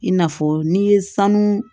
I n'a fɔ n'i ye sanu